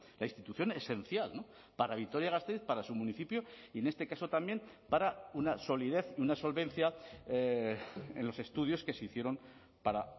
la institución esencial para vitoria gasteiz para su municipio y en este caso también para una solidez y una solvencia en los estudios que se hicieron para